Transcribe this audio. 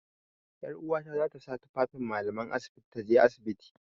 'Yaruwata za ta sa tufafin mallaman asibiti ta je asibiti.